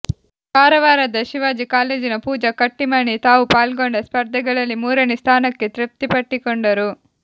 ಕಾರವಾರದ ಶಿವಾಜಿ ಕಾಲೇಜಿನ ಪೂಜಾ ಕಟ್ಟಿಮನಿ ತಾವು ಪಾಲ್ಗೊಂಡ ಸ್ಪರ್ಧೆಗಳಲ್ಲಿ ಮೂರನೇ ಸ್ಥಾನಕ್ಕೆ ತೃಪ್ತಿಪಟ್ಟುಕೊಂಡರು